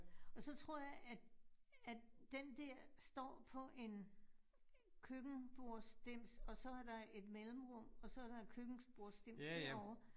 Og så tror jeg, at at den der står på en køkkenbordsdims, og så er der et mellemrum, og så er der en køkkenbordsdims derovre